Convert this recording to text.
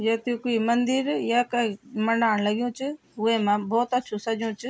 य त मंदिर या कैक मंडाण लग्यु च वेमा भौत अच्छू सज्यु च ।